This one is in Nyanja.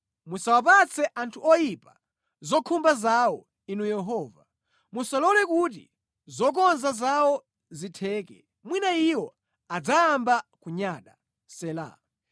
Musawapatse anthu oyipa zokhumba zawo, Inu Yehova; musalole kuti zokonza zawo zitheke, mwina iwo adzayamba kunyada. Sela